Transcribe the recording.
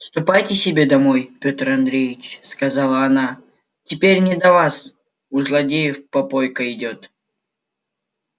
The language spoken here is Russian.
ступайте себе домой пётр андреевич сказала она теперь не до вас у злодеев попойка идёт